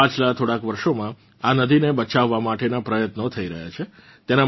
પાછલાં થોડાંક વર્ષોમાં આ નદીને બચાવવા માટેનાં પ્રયત્નો થઇ રહ્યાં છે